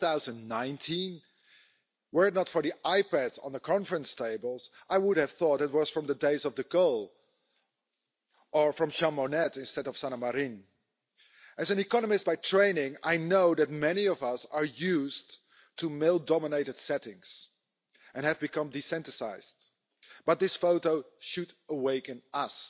2019? Were it not for the iPads on the conference tables, I would have thought it was from the days of De Gaulle or from Jean Monnet instead of Sanna Marin. As an economist by training, I know that many of us are used to male dominated settings and have become desensitised. But this photo should awaken us.